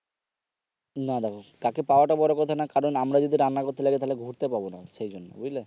না দেখো কাকে পাওয়াটা বড় কথা না কারণ আমরা যদি রান্না করতে লাগি তাহলে ঘুরতে পাবো না সে জন্য বুঝলে।